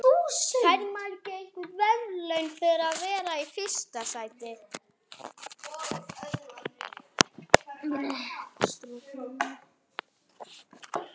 Hann fór með Þuru og